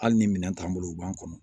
Hali ni minɛn t'an bolo u b'an kɔnɔ